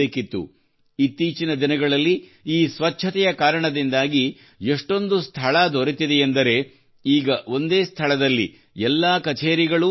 ಇತ್ತೀಚಿನ ದಿನಗಳಲ್ಲಿ ಈ ಸ್ವಚ್ಛತೆಯ ಕಾರಣದಿಂದಾಗಿ ಎಷ್ಟೊಂದು ಸ್ಥಳ ದೊರೆತಿದೆಯೆಂದರೆ ಈಗ ಒಂದೇ ಸ್ಥಳದಲ್ಲಿ ಎಲ್ಲಾ ಕಛೇರಿಗಳೂ ನೆಲೆಗೊಂಡಿವೆ